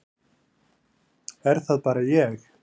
Er það bara ég.